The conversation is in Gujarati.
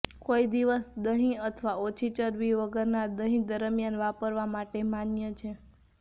કોણ દિવસ દહીં અથવા ઓછી ચરબી વગરના દહીં દરમિયાન વાપરવા માટે માન્ય છે